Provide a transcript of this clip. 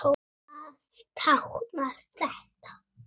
Hvað táknar þetta?